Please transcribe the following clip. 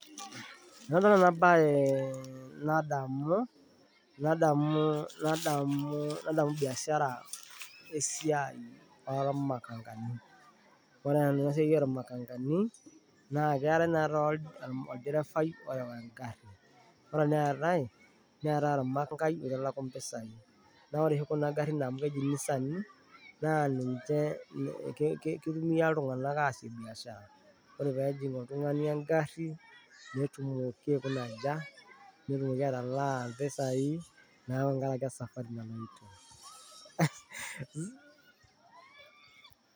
Enadol ena naye nadamu ee bishara esiai oormakangani naa ore ena siai oormakangani naa, keetai naa oldifai ore engarri neetai ormakangai oitalaku impisai naa ore kuna garrin amu keji inisani, kitumia iltung'anak aasie biashara ore pee ejing' oltung'ani engarri naa kikaja, nelak impisai neeku te ngaraki esafari naloito.